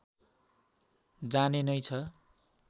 जाने नै छ